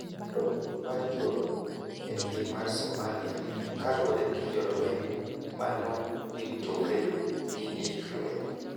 Dok piny mar njore e piny mar Somalia kaluore gi jolweny manoritore gi gik lweny